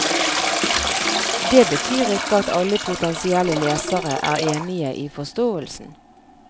Det betyr ikke at alle potensielle lesere er enige i forståelsen.